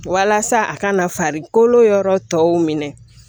Walasa a kana farikolo yɔrɔ tɔw minɛ